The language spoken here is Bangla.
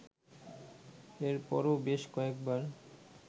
এরপরও বেশ কয়েকবার